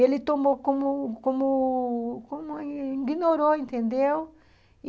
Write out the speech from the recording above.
Ele tomou como como como ignorou, entendeu?